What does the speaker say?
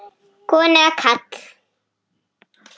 Kona eða karl?